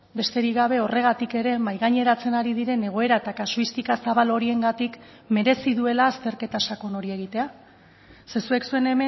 besterik gabe horregatik ere mahai gaineratzen ari diren egoera eta kasuistika zabal horiengatik merezi duela azterketa sakon hori egitea ze zuek zuen